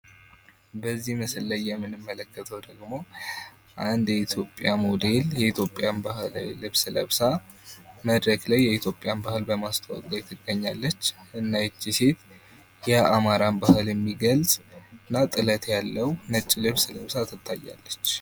በዚህ ምስል ላይ የምንመለከተው ደግሞ አንድ የኢትዮጵያ ሞዴል የኢትዮጵያን ባህላዊ ልብስ ለብሳ መድረክ ላይ የኢትዮጵያን ባህል በማስተዋወቅ ላይ ትገኛለች፤ እናም ይቺ ሴት የ አማራን ባህል የሚገልፅ ጥለት ያለው ነጭ ልብስ ለብሳ ትታያለች።